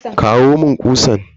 Kawo mun kutsan.